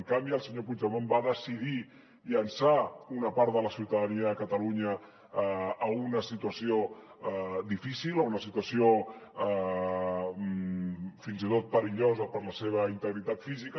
en canvi el senyor puigdemont va decidir llançar una part de la ciutadania de catalunya a una situació difícil a una situació fins i tot perillosa per a la seva integritat física